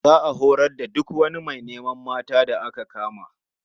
Za a horar da duk wani mai neman mata da aka kama.